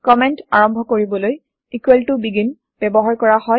comment আৰম্ভ কৰিবলৈ begin ব্যৱহাৰ কৰা হয়